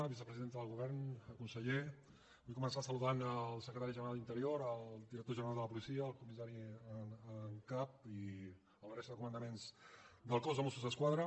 vicepresidenta del govern conseller vull començar saludant el secretari general d’interior el director general de la policia el comissari en cap i la resta de comandaments del cos de mossos d’esquadra